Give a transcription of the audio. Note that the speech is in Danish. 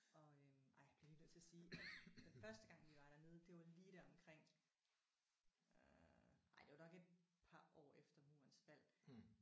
Og øh ej jeg bliver lige nødt til at sige at den første gang vi var dernede det var lige deromkring øh ej det var nok et par år efter murens fald